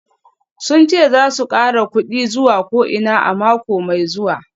Sun ce za su kara kudin zuwa ko'ina a mako mai zuwa